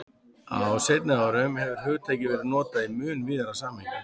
Á seinni árum hefur hugtakið verið notað í mun víðara samhengi.